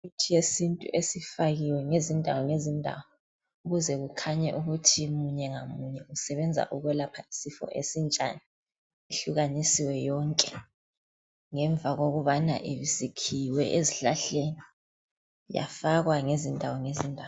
Imithi yesintu esifakiwe ngezindawo ngezindawo ukuze kukhanye ukuthi munye ngamunye usebenza ukwelapha isifo esinjani yehlukanisiwe yonke ngemva yokubana isikhiwe ezihlahleni yafakwa ngezindawo ngezindawo.